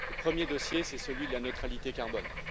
Le premier dossier, c'est celui de la neutralité carbone.